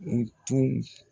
U tun